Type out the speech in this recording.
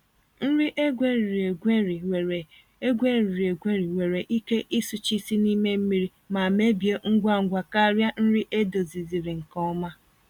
Nri egweriri-egweri nwere egweriri-egweri nwere ike ịsụchisi n'ime mmiri ma mebie ngwa ngwa karịa nri edoziziri nke ọma.